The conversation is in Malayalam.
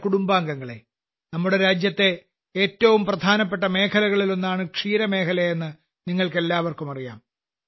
എന്റെ കുടുംബാംഗങ്ങളെ നമ്മുടെ രാജ്യത്തെ ഏറ്റവും പ്രധാനപ്പെട്ട മേഖലകളിലൊന്നാണ് ക്ഷീരമേഖലയെന്ന് നിങ്ങൾക്കെല്ലാവർക്കും അറിയാം